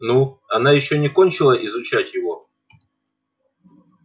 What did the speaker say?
ну она ещё не кончила изучать его